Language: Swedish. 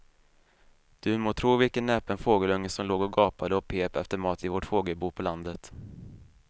Du må tro vilken näpen fågelunge som låg och gapade och pep efter mat i vårt fågelbo på landet.